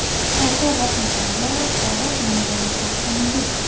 Sardor Rahimxonga sovg‘a qilingan avtomobil.